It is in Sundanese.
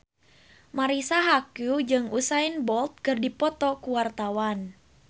Marisa Haque jeung Usain Bolt keur dipoto ku wartawan